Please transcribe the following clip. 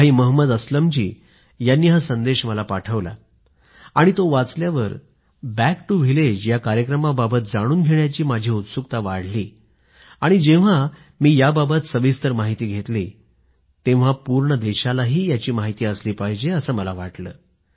भाई महंमद अस्लमजी यांनी हा संदेश मला पाठवला आणि तो वाचल्यावर बँक टु व्हिलेज कार्यक्रमाबाबत जाणून घेण्याची माझी उत्सुकता वाढली आणि जेव्हा मी याबाबत सविस्तर माहिती घेतली तेव्हा पूर्ण देशाला याची माहिती असली पाहिजे असं मला वाटलं